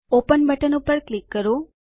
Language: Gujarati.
ઓપન બટન પર ક્લિક કરો